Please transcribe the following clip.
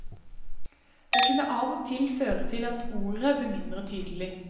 Det kunne av og til føre til at ordet ble mindre tydelig.